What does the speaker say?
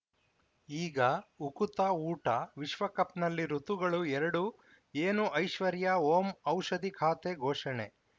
ಈಗ ಉಕುತ ಊಟ ವಿಶ್ವಕಪ್‌ನಲ್ಲಿ ಋತುಗಳು ಎರಡು ಏನು ಐಶ್ವರ್ಯಾ ಓಂ ಔಷಧಿ ಖಾತೆ ಘೋಷಣೆ